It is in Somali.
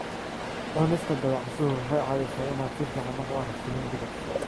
Cunista dabacasuhu waxay caawisaa inaad si fiican wax u aragto mugdiga.